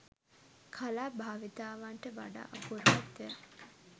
කලා භාවිතාවන්ට වඩා අපූර්වත්වයක්